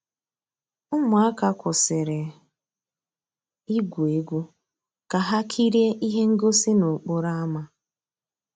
Ụmụ́àká kwụ́sị́rí ìgwú égwu ká há kìríé íhé ngósì n'òkpòró ámá.